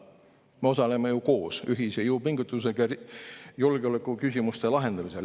Me osaleme ju koos, ühise jõupingutusega julgeolekuküsimuste lahendamisel.